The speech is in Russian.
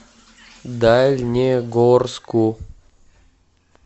дальнегорску